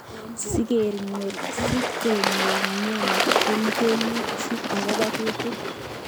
Sikenyor mnyeni kongeni chi akobo kutik.